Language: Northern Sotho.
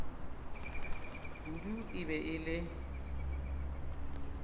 kudu e be e le